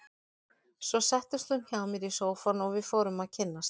Svo settist hún hjá mér í sófann og við fórum að kynnast.